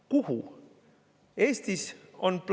Kuhu?